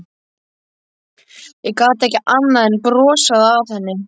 Ég gat ekki annað en brosað að henni.